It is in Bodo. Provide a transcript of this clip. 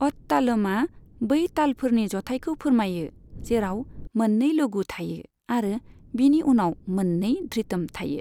अत तालमआ बै तालफोरनि जथाइखौ फोरमायो, जेराव मोननै लघु थायो आरो बिनि उनाव मोननै धृतम थायो।